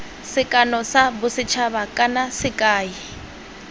sekano sa bosethaba kana sekai